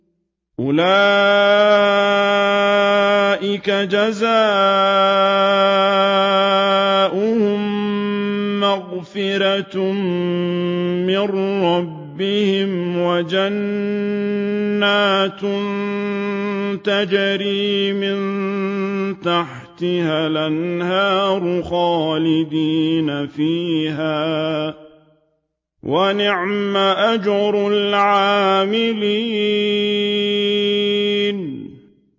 أُولَٰئِكَ جَزَاؤُهُم مَّغْفِرَةٌ مِّن رَّبِّهِمْ وَجَنَّاتٌ تَجْرِي مِن تَحْتِهَا الْأَنْهَارُ خَالِدِينَ فِيهَا ۚ وَنِعْمَ أَجْرُ الْعَامِلِينَ